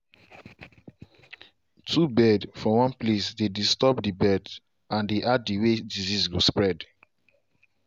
too bird for one place dey disturb the birds and dey add the way disease go spread.